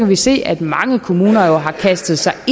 vi se at mange kommuner jo har kastet sig